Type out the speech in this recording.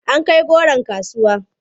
An kai goron kasuwa?